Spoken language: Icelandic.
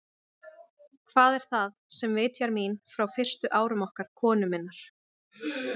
Hvað er það, sem vitjar mín frá fyrstu árum okkar konu minnar?